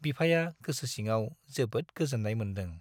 बिफाया गोसो सिङाव जोबोद गोजोन्नाय मोन्दों।